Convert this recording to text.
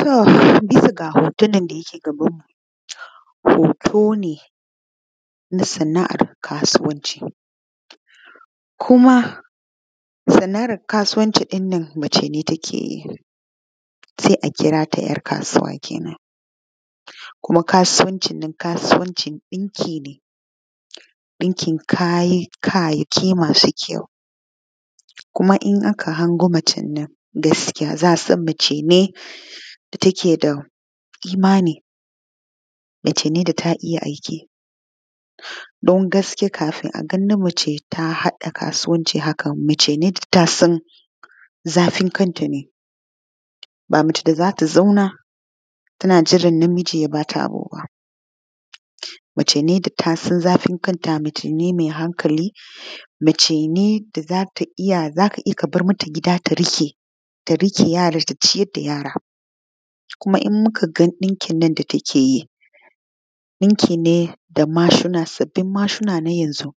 To bisa ga hoto nan da yake gabanmu hoto ne na sana’an kasuwanci kuma sana’an kasuwancin nan mace ne take yi se a kira ‘yar kasuwa kenan kuma kasuwancin nan kasuwancin ɗinki ne ɗinkin kaya ke masu kyau kuma in aka hango macen nan za a san macene da take da imani macane da ta iya aiki dun nagaske kafin aga mace ta haɗa kasuwanci haka macene me sanin zafin kantane ba mace da za ta zauna tana jiran na miji ya bata abuba macane da tasan zafin kanta mace ne ma hankali mace ne wanda za ka iya kabarmata gida ta riƙe yaran ta ciyar da yaran kuma in mukaga ɗinkin da takeyi ɗinkine da sabbin mashina na yanzo